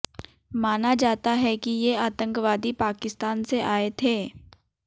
माना जाता है कि ये आतंकवादी पाकिस्तान से आए थे